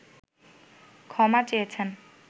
ক্ষমা চেয়েছেন